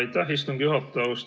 Aitäh, istungi juhataja!